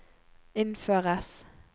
innføres